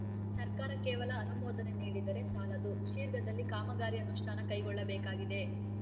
ಸರ್ಕಾರ ಕೇವಲ ಅನುಮೋದನೆ ನೀಡಿದರೆ ಸಾಲದು ಶ್ರಿರ್ಘದಲ್ಲಿ ಕಾಮಗಾರಿ ಅನುಷ್ಠಾನ ಕೈಗೊಳ್ಳಬೇಕಾಗಿದೆ